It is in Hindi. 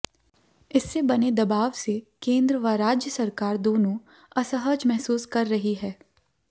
इससे बने दबाव से केंद्र व राज्य सरकार दोनों असहज महसूस कर रही है